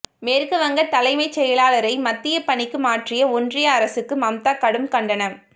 மேற்குவங்க தலைமைச் செயலாளரை மத்திய பணிக்கு மாற்றிய ஒன்றிய அரசுக்கு மம்தா கடும் கண்டனம்